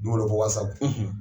Don go doin ko waa saba,